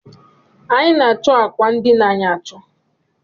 Anyi na-acho âkwà ndina anyị acho